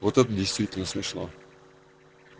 вот это действительно смешно